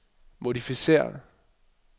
modificér